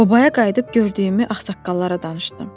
Obaya qayıdıb gördüyümü ağsaqqallara danışdım.